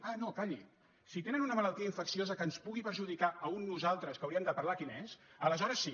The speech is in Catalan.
ah no calli si tenen una malaltia infecciosa que ens pugui perjudicar a un nosaltres que hauríem de parlar quin és aleshores sí